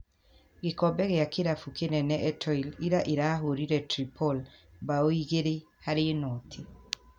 Gĩkombe kĩa kĩrabu kĩnene Etoile ira ĩrahũrire Tripol bao 2-0.